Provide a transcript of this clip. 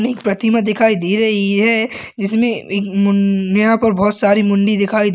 एक प्रतिमा दिखाई दे रही है जिसमे म-म मु यहाँ पर बहोत सारी मुडडी दिखाई दे रही है।